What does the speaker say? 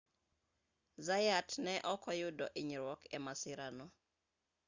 zayat ne ok oyudo hinyruok e masira no